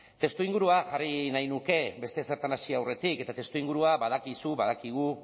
testuingurua jarri nahi nuke beste ezertan hasi aurretik eta testuingurua badakizu badakigu